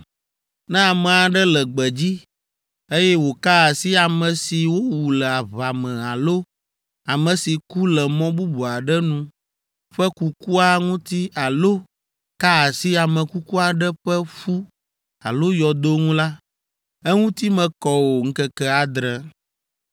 “Ne ame aɖe le gbedzi, eye wòka asi ame si wowu le aʋa me alo ame si ku le mɔ bubu aɖe nu ƒe kukua ŋuti alo ka asi ame kuku aɖe ƒe ƒu alo yɔdo ŋu la, eŋuti mekɔ o ŋkeke adre.